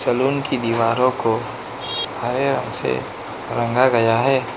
Salon की दीवारों को हरे रंग से रंगा गया है।